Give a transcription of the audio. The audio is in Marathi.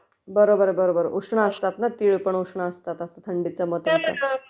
बरोबर बरोबर उष्ण असतात ना तीळपण उष्ण असतात....आता थंडीच्या मौसमामध्ये